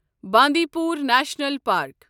Bandipur national park